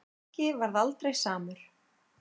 Helgi varð aldrei samur.